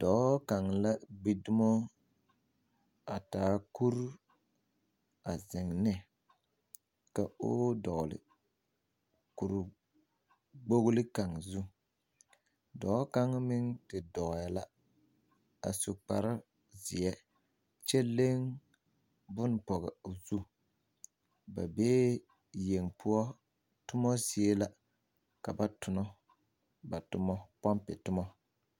Dɔɔ kaŋ la be tomo a taa kuri a zeŋ ne ka o dɔgli kurikpogli kaŋ zu dɔɔ kaŋ meŋ te dɔɛ la a su kparrzeɛ kyɛ leŋ bon pɔge o zu ba bee yeŋ poɔ tomo zie la ka ba tona ba tomo pompe tomao.